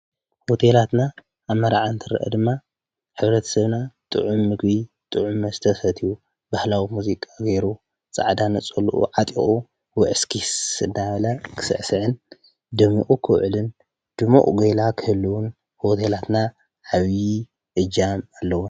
ሆቴለትና ኣብ ምርዓ እንትርእ ሕ/ሰብና ጥዕም ምግብ ጥዕም መሰተ ሰትዩ ባህላዊ መዝቃ ገይሩ ፃዕዳ ነፀልኡ ዓጥቁ ውይእስክስ እዳበለ ክስዕስዕን ደሚቁ ክውዕልን ድሙቅ ጎይላ ክህልዎን ሆቴላትና ዓብይ እጃም ኣለዎ።